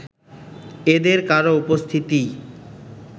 এদের কারও উপস্থিতিই